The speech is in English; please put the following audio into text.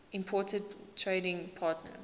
important trading partner